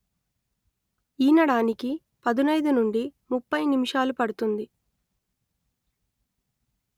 ఈనడానికి పదునయిదు నుండి ముప్పై నిమిషాలు పడుతుంది